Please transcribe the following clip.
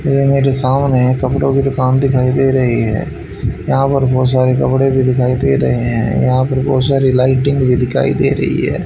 ये मेरे सामने कपड़ों की दुकान दिखाई दे रही है यहां पर बहुत सारे कपड़े भी दिखाई दे रहे हैं यहां पर बहुत सारी लाइटिंग भी दिखाई दे रही है।